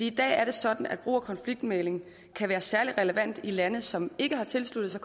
i dag er det sådan at brug af konfliktmægling kan være særlig relevant i lande som ikke har tilsluttet sig